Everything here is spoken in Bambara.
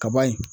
Kaba ye